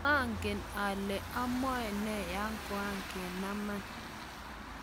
maangen ale amwa ne yo koakenaman